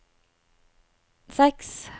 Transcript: seks